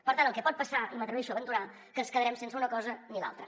per tant el que pot passar i m’atreveixo a aventurar ho és que ens quedarem sense una cosa ni l’altra